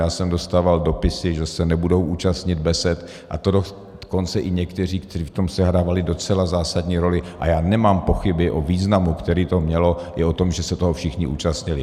Já jsem dostával dopisy, že se nebudou účastnit besed, a to dokonce i někteří, kteří v tom sehrávali docela zásadní roli, a já nemám pochyby o významu, který to mělo, i o tom, že se toho všichni účastnili.